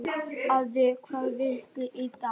Finnbjörk, hvaða vikudagur er í dag?